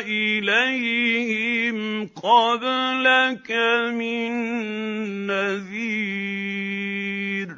إِلَيْهِمْ قَبْلَكَ مِن نَّذِيرٍ